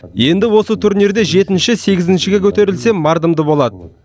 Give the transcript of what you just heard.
енді осы турнирде жетінші сегізіншіге көтерілсе мардымды болады